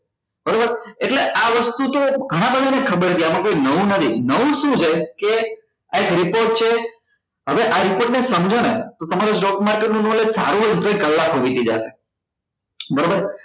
બરોબર એટલે આવ વસ્તુ તો ગણા બધા ને ખબર છે આમાં કઈ નવું નથી નવું શું છે કે આ report છે હવે આ report ને સમજો ને તો તમારું stock market નું knowledge સારું એવું તો કલાકો વીતી જાય બરોબર